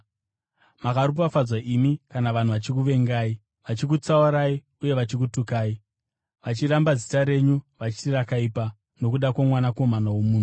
Makaropafadzwa imi kana vanhu vachikuvengai, vachikutsaurai uye vachikutukai, vachiramba zita renyu vachiti rakaipa, nokuda kwoMwanakomana woMunhu.